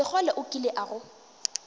sekgole o kile a go